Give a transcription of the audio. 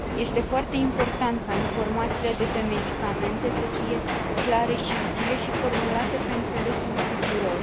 Este foarte important ca informațiile de pe medicamente să fie clare și utile și formulate pe înțelesul tuturor.